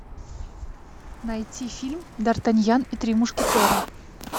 найти фильм д артаньян и три мушкетера